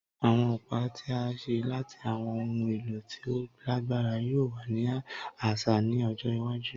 Awọn ọpa ti a ṣe lati awọn ohun elo ti o lagbara yoo wa ni aṣa ni ojo iwaju